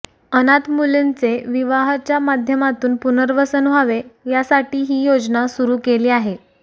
अनाथ मुलींचे विवाहाच्या माध्यमातून पुनर्वसन व्हावे यासाठी ही योजना सुरू केली आहे